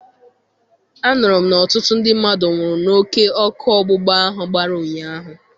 Anụrụ m na ọtụtụ ndị mmadụ nwụrụ n'oké ọkụ ọgbụgba ahụ gbara ụnyahụ.